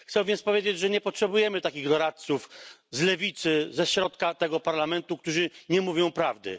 Chcę więc powiedzieć, że nie potrzebujemy takich doradców z lewicy, ze środka tego Parlamentu, którzy nie mówią prawdy.